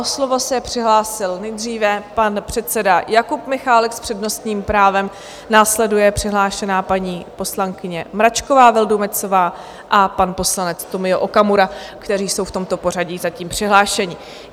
O slovo se přihlásil nejdříve pan předseda Jakub Michálek s přednostním právem, následuje přihlášená paní poslankyně Mračková Vildumetzová a pan poslanec Tomio Okamura, kteří jsou v tomto pořadí zatím přihlášení.